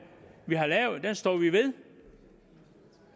vi har lavet står vi ved